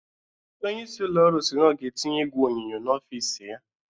Onye isi ụlọ ọrụ si na ọ ga-etinye igwe onyonyo n'ọfis ya.